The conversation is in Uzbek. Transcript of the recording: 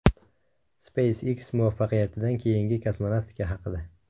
SpaceX muvaffaqiyatidan keyingi kosmonavtika haqida.